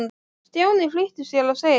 Stjáni flýtti sér að segja já.